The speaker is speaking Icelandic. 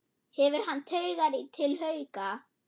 Hefur hann taugar til Hauka?